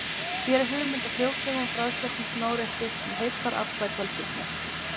Hér er hugmynd að fljótlegum og bragðsterkum smárétti sem heillar alla í fjölskyldunni.